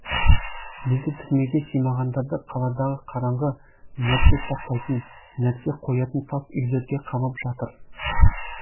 енді түрмеге симағандарды қаладағы қараңғы нәрсе сақтайтын нәрсе қоятын тас үйлерге қамап жатыр